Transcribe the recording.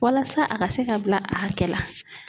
Walasa a ka se ka bila a hakɛ la.